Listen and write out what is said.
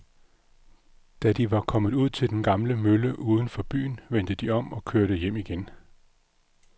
Da de var kommet ud til den gamle mølle uden for byen, vendte de om og kørte hjem igen.